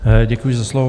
Děkuji za slovo.